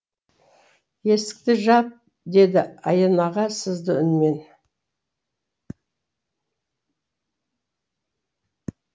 есікті жап деді аян аға сызды үнмен